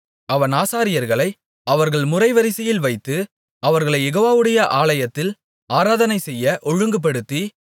அவன் ஆசாரியர்களை அவர்கள் முறைவரிசைகளில் வைத்து அவர்களைக் யெகோவாவுடைய ஆலயத்தில் ஆராதனை செய்ய ஒழுங்குபடுத்தி